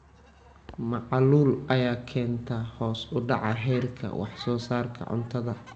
Macaluul ayaa keenta hoos u dhaca heerka wax soo saarka cuntada.